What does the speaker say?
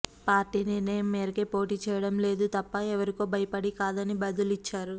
party నిర్ణయం మేరకే పోటీ చేయడం లేదు తప్ప ఎవరికో భయపడి కాదని బదులిచ్చారు